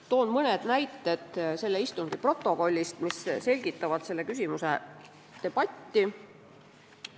Toon mõne näite istungi protokollist, mis selgitavad selle küsimuse debatti.